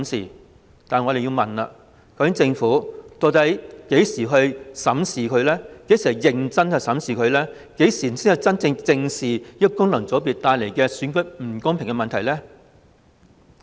然而，我們要問政府，究竟何時才會認真審視，何時才會正視功能界別帶來的選舉不公問題？